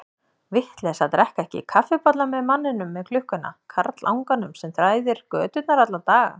Vitleysa að drekka ekki kaffibolla með manninum með klukkuna, karlanganum sem þræðir göturnar alla daga.